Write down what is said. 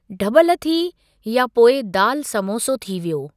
डॿल थी या पोइ दाल समोसो थी वियो।